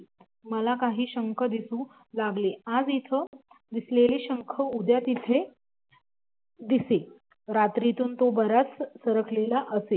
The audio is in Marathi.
मला काही शंख दिसू लागले आज इथे दिसलेला शंख उद्या तिथे दिसे. रात्रीतून तो बराच सरकलेला असे